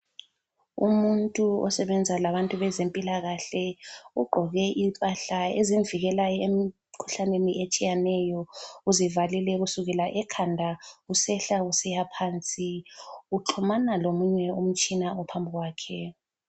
Umuntu osebenza labantu bezempilakahle ugqoke impahla ezimvikelayo emkhuhlaneni etshiyeneyo. Uzivalile kusukela ekhanda kusehla kusiyaphansi, uxhumana lomunye umtshina ophambi kwakhe.